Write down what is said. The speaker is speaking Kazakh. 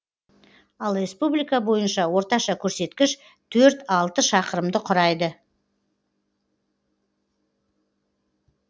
ал республика бойынша орташа көрсеткіш төрт алты шақырымды құрайды